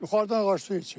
Yuxarıdan ağac su içir?